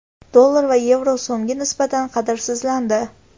Dollar va yevro so‘mga nisbatan qadrsizlandi.